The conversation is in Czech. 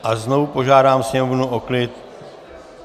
A znovu požádám Sněmovnu o klid.